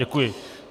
Děkuji.